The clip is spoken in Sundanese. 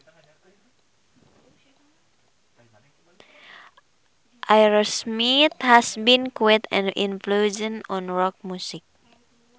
Aerosmith has been quite an influence on rock music